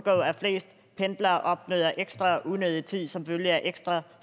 pendlere oplever ekstra unødig tid som følge af ekstra